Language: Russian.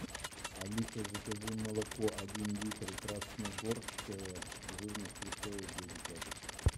алиса закажи молоко один литр красногорское жирность три целых две десятых